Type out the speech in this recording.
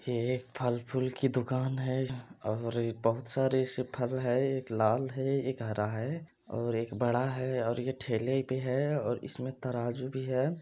ये फल फूल की दुकान है जहां और बहुत सारे ऐसे फल है एक लाल है और एक हरा है और एक बड़ा है और ये ठेले पर है और इसमे तराजू भी है।